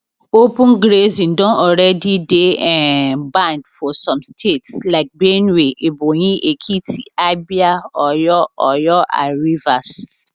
open grazing don already dey um banned for some states like benue ebonyi ekiti abia oyo oyo and rivers